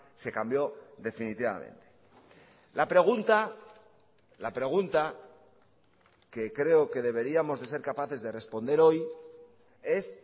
se cambió definitivamente la pregunta la pregunta que creo que deberíamos de ser capaces de responder hoy es